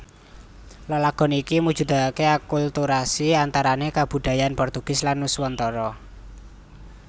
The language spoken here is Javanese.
Lelagon iki mujudaké akulturasi antarané kabudayan Portugis lan Nuswantara